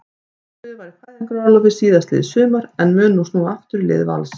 Málfríður var í fæðingarorlofi síðastliðið sumar en mun nú snúa aftur í lið Vals.